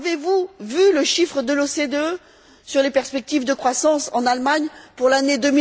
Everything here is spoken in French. Avez vous vu le chiffre de l'OCDE sur les perspectives de croissance en Allemagne pour l'année